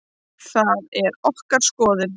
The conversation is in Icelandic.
Það er okkar skoðun.